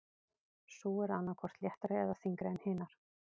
Sú er annað hvort léttari eða þyngri en hinar.